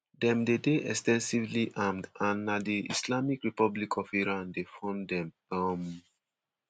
dem dey dey ex ten sively armed and na di islamic republic of iran dey fund dem. um